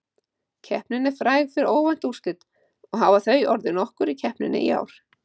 Keppnin er fræg fyrir óvænt úrslit og hafa þau orðið nokkur í keppninni í ár.